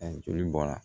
joli bɔra